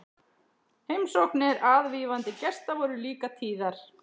Heimsóknir aðvífandi gesta voru líka tíðar.